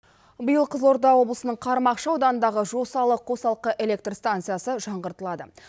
биыл қызылорда облысының қармақшы ауданындағы жосалы қосалқы электр станциясы жаңғыртылады